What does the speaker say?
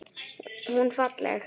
Hún falleg.